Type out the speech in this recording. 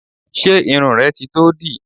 Ṣé irun rẹ ti tó dì?